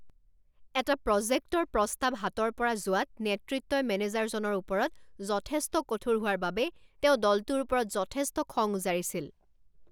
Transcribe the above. এটা প্ৰজেক্টৰ প্ৰস্তাৱ হাতৰ পৰা যোৱাত নেতৃত্বই মেনেজাৰজনৰ ওপৰত যথেষ্ট কঠোৰ হোৱাৰ বাবে তেওঁ দলটোৰ ওপৰত যথেষ্ট খং উজাৰিছিল।